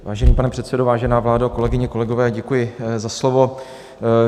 Vážený pane předsedo, vážená vládo, kolegyně, kolegové, děkuji za slovo.